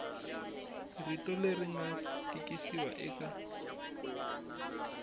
rito leri nga tikisiwa eka